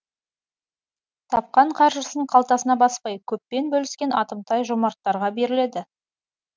тапқан қаржысын қалтасына баспай көппен бөліскен атымтай жомарттарға беріледі